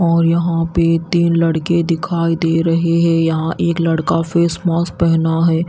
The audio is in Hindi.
और यहां पे तीन लड़के दिखाई दे रहे है यहां एक लड़का फेस मास्क पहना है।